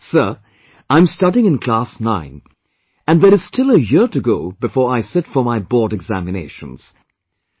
And she says, sir, I am studying in Class 9, and there is still a year to go before I sit for my board examinations